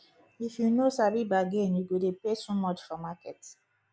if you no sabi bargain you go dey pay too much for market